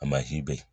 be yen